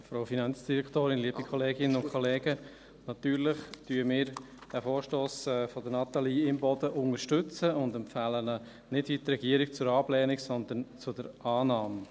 Natürlich unterstützen wir diesen Vorstoss von Natalie Imboden und empfehlen ihn nicht – wie die Regierung – zur Ablehnung, sondern zur Annahme.